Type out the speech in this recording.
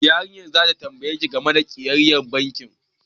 Yarinyar zata tambaye ki game da kayayyakin bankin